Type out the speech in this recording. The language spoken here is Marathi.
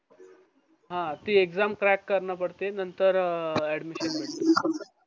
हा ती exam crack करणं पडते नंतर अह admission भेटत